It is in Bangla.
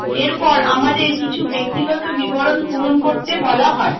এরপর আমাদের কিছু ব্যক্তিগত বিবরণ পূরণ করতে বলা হয়